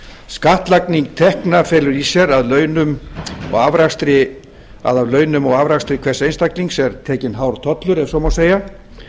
skattlagning tekna felur í sér að af launum og afrakstri hvers einstaklings er tekinn hár tollur ef svo má segja